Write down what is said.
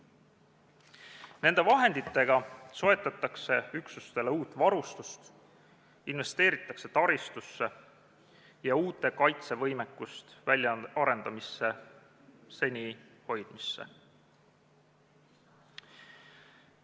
Nende vahenditega soetatakse üksustele uut varustust, investeeritakse taristusse ja uute kaitsevõimekuste väljaarendamisse ja seniste hoidmisse.